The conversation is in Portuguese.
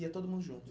ia todo mundo junto?